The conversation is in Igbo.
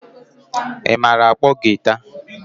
Ị maara akpo giita?